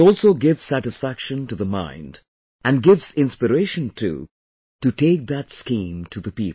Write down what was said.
It also gives satisfaction to the mind and gives inspiration too to take that scheme to the people